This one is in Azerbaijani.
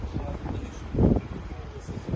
Çox sağ olun, Allah razı olsun.